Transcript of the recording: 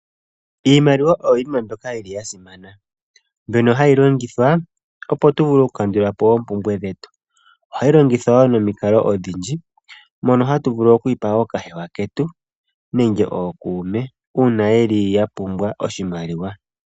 Iimaliwa oyo yimwe mbyoka ya simana mbyono hayi longithwa opo tu vule oku kandula po oompumbwe dhetu, ohayi longithwa momikalo odhindji mono hatu vulu oku yi pa ookahewa ketu nenge ookuume ketu uuna ye li ya pumbwa oshimaliwa.